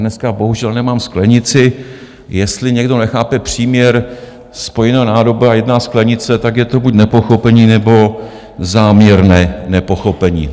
Dneska bohužel nemám sklenici - jestli někdo nechápe příměr spojená nádoba a jedna sklenice, tak je to buď nepochopení, nebo záměrné nepochopení.